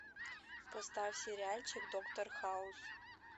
поставь сериальчик доктор хаус